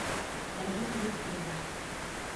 загит викторович